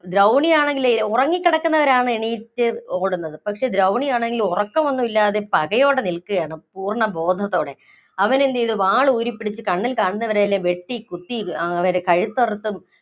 ദ്രൗണി ആണെങ്കില്‍, ഉറങ്ങി കിടക്കുന്നവരാണ് എണീറ്റ് ഓടുന്നത്. പക്ഷേ ദ്രൗണി ആണെങ്കില്‍ ഉറക്കമൊന്നും ഇല്ലാതെ പകയോടെ നില്‍ക്കുകയാണ് പൂര്‍ണ്ണ ബോധത്തോടെ. അവനെന്തു ചെയ്തു വാള്‍ ഊരിപ്പിടിച്ചു കണ്ണില്‍ കണ്ടവരെയൊക്കെ കുത്തി, വെട്ടി, പിന്നെ കഴുത്തറുത്തും